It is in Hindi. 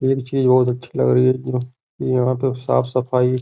एक चीज़ बहुत अच्छी लग रही है। यहाँ पे साफ सफाई --